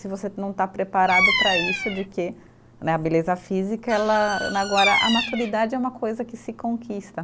Se você não está preparado para isso, de que né, a beleza física ela, agora a maturidade é uma coisa que se conquista.